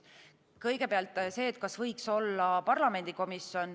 Kõigepealt see, kas võiks olla parlamendikomisjon.